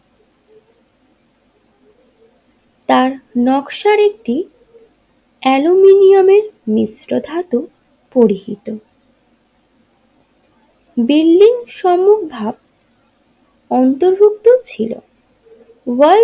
তার নকশা একটি অ্যালুমিনিয়ামের মিশ্র ধাতু পরিহিত বিল্ডিং সমুক ভাবে অন্তর্ভুক্ত ছিল ওয়ার্ল্ড।